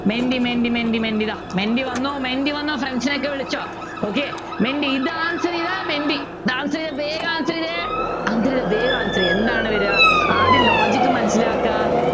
Menti Menti Menti Menti ഇതാ Menti വന്നു Menti വന്നു friends നെ ഒക്കെ വിളിച്ചോ okay മെൻറ്റി ഇത് Answer ചെയ്താൽ മെൻറ്റി ഇത് Answer ചെയ്ത വേഗം Answer ചെയ്തേ അതിൽ വേഗം Answer ചെയ്യൂ എന്താണ് വരുക ആദ്യം logic മനസിലാക്കുക